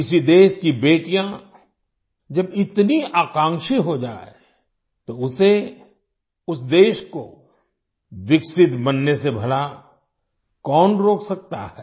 किसी देश की बेटियाँ जब इतनी आकांक्षी हो जाएं तो उसे उस देश को विकसित बनने से भला कौन रोक सकता है